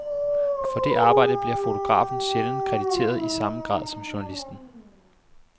For det arbejde bliver fotografen sjældent krediteret i samme grad som journalisten.